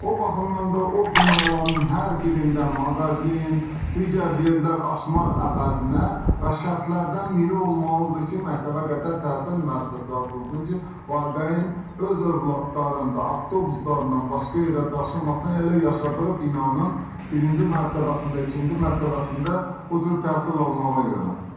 O baxımdan da o binaların hər birində mağazin, digər yerlər açmaq əvəzinə və şərtlərdən biri olmalıdır ki, məktəbəqədər təhsil müəssisəsi açılsın ki, valideyn öz övladlarını da avtobuslarla başqa yerə daşımasın, elə yaşadığı binanın birinci mərtəbəsində, ikinci mərtəbəsində bu cür təhsil almağa yönəlsin.